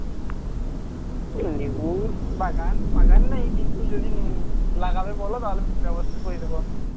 হ্যাঁ নেবুস বাগান বাগান নাই কিন্তু যদি উম লাগাবে বলো তাহলে আমি ব্যবস্থা করিয়ে দেব আমি